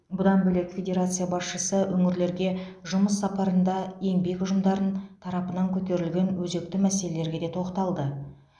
бұдан бөлек федерация басшысы өңірлерге жұмыс сапарында еңбек ұжымдарын тарапынан көтерілген өзекті мәселелерге де тоқталды